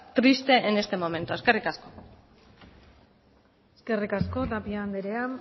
triste en este momento eskerrik asko eskerrik asko tapia andrea